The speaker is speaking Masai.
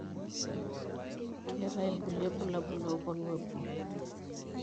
Keeta ilkulie ilbulabul loponu epuo.